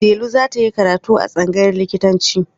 Dela za ta yi karatu a tsangayar likitanci.